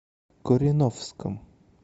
кореновском